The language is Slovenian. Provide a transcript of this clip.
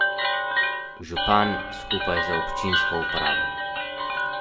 Župan skupaj z občinsko upravo.